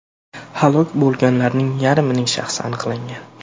Halok bo‘lganlarning yarmining shaxsi aniqlangan.